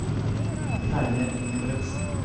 Terje Engebretsen